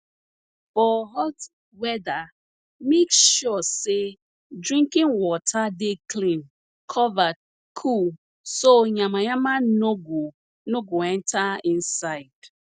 for hot weather make sure sey drinking water dey clean covered cool so yamayama no go no go enter inside